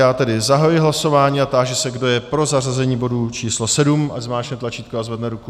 Já tedy zahajuji hlasování a táži se, kdo je pro zařazení bodu číslo 7, ať zmáčkne tlačítko a zvedne ruku.